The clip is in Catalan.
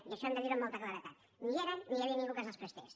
i això hem de dir ho amb molta claredat ni hi eren ni hi havia ningú que ens els prestés